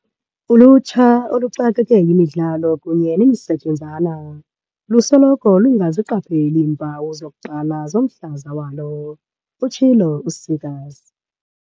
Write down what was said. "Ulutsha, oluxakeke yimidlalo kunye nemisetyenzana, lusoloko lungaziqapheli iimpawu zokuqala zomhlaza walo," utshilo u-Seegers.